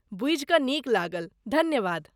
बूझि कऽ नीक लागल। धन्यवाद